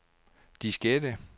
diskette